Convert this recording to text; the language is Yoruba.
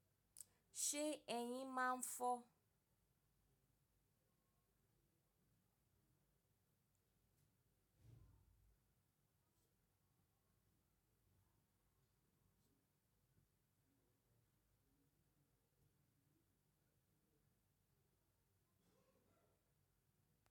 Ṣé eyín máa ń fọ́?